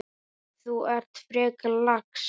Þú ert frekar lax.